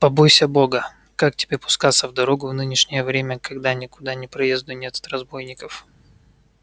побойся бога как тебе пускаться в дорогу в нынешнее время когда никуда ни проезду нет от разбойников